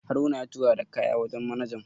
Haruna ya tura da kaya wajen manajan